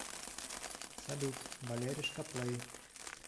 салют валеришка плэй